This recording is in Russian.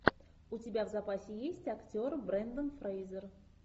у тебя в запасе есть актер брендон фрейзер